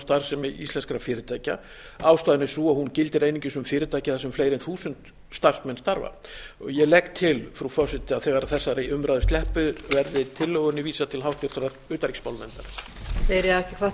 starfsemi íslenskra fyrirtækja ástæðan er sú að hún gildir einungis um fyrirtæki þar sem fleiri en þúsund starfsmenn starfa ég legg til frú forseti að þegar þessari umræðu sleppir verði tillögunni vísað til háttvirtrar utanríkismálanefndar